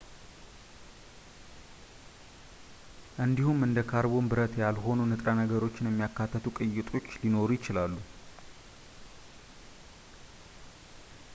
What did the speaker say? እንዲሁም እንደ ካርቦን ብረት-ያልሆኑ ንጥረ ነገሮችን የሚያካትቱ ቅይጦች ሊኖሩ ይችላሉ